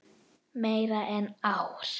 Meira en ár.